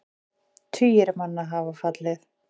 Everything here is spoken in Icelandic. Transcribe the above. Tugir manna hafa fallið.